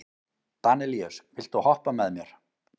Danelíus, viltu hoppa með mér?